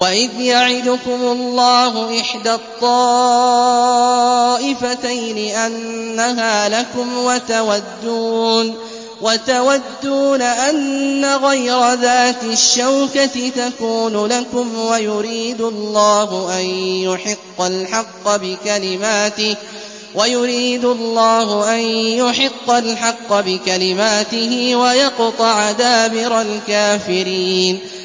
وَإِذْ يَعِدُكُمُ اللَّهُ إِحْدَى الطَّائِفَتَيْنِ أَنَّهَا لَكُمْ وَتَوَدُّونَ أَنَّ غَيْرَ ذَاتِ الشَّوْكَةِ تَكُونُ لَكُمْ وَيُرِيدُ اللَّهُ أَن يُحِقَّ الْحَقَّ بِكَلِمَاتِهِ وَيَقْطَعَ دَابِرَ الْكَافِرِينَ